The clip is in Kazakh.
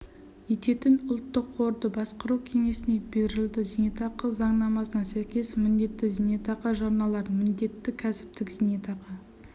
ететін ұлттық қорды басқару кеңесіне берілді зейнетақы заңнамасына сәйкес міндетті зейнетақы жарналарын міндетті кәсіптік зейнетақы